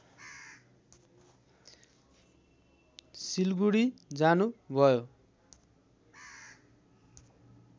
सिलगुढी जानु भयो